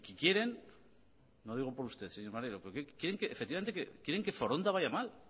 quieren no lo digo por usted señor maneiro efectivamente que foronda vaya mal